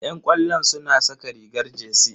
Yan ƙwallo suna saka rigar jersey.